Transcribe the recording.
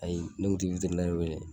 Ayi ne kun ti witirinɛri wele